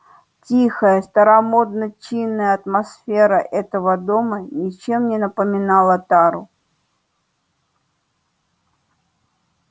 тихая старомодно-чинная атмосфера этого дома ничем не напоминала тару